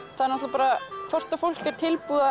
bara hvort að fólk er tilbúið